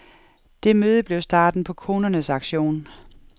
Det møde blev starten på konernes aktion.